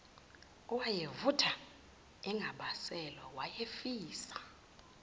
owayevutha engabaselwe wayefisa